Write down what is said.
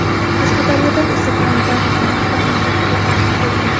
Qashqadaryodan esa pomidor va qalampir importiga taqiq qo‘ygandi.